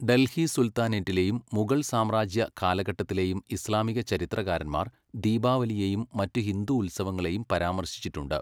ഡൽഹി സുൽത്താനേറ്റിലെയും മുഗൾ സാമ്രാജ്യ കാലഘട്ടത്തിലെയും ഇസ്ലാമിക ചരിത്രകാരന്മാർ ദീപാവലിയെയും മറ്റ് ഹിന്ദു ഉത്സവങ്ങളെയും പരാമർശിച്ചിട്ടുണ്ട്.